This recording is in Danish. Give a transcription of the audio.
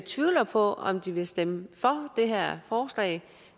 tvivler på om de vil stemme for det her forslag